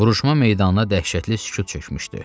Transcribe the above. Vuruşma meydanına dəhşətli sükut çökmüşdü.